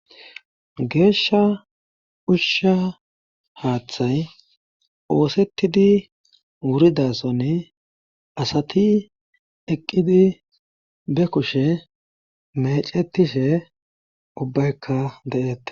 Geeshsha ushsha haaththay oosettidi wuridasonni asati eqqidi be kushe mecetishe ubbaykka deeette.